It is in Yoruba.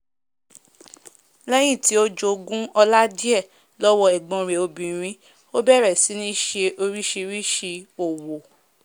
lẹ́yìn tí ó jogún ọlá díẹ̀ lọ́wọ́ ẹ̀gbón rẹ̀ obìrin ó bẹ̀rẹ̀ sí ní se orísìsísì òwò